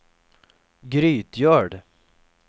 Grytgöl